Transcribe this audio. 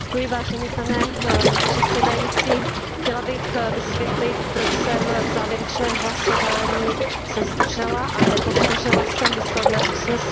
Pane předsedající, chtěla bych vysvětlit, proč jsem se v konečném hlasování zdržela a nepodpořila jsem výsledné usnesení.